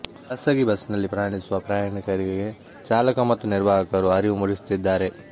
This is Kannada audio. ಖಾಸಗಿ ಬಸ್ಸಿನಲ್ಲಿ ಪ್ರಯಾಣಿಸುವ ಪ್ರಯಾಣಿಕರಿಗೆ ಚಾಲಕ ಮತ್ತು ನಿರ್ವಾಹಕರು ಅರಿವು ಮೂಡಿಸುತ್ತಿದ್ದಾರೆ